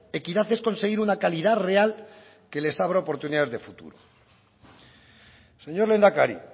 equidad es conseguir una calidad real que les abra oportunidades de futuro señor lehendakari